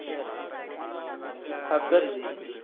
हा कर